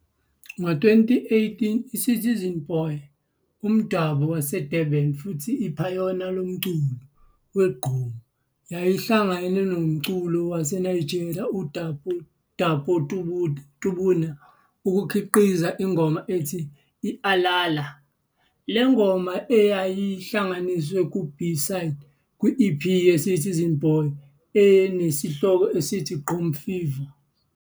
Ngo-2018, i-Citizen Boy, umdabu waseDurban futhi iphayona lomculo we-gqom, yayihlangana nomculi waseNigeria uDapo Tuburna ukukhiqiza ingoma ethi "I-Alala". Le ngoma yayihlanganisa ku-B-Side, kwi-EP ye-Citizen Boy enesihloko esithi, "Gqom Fever".